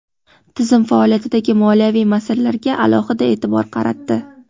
tizim faoliyatidagi moliyaviy masalalarga alohida e’tibor qaratdi.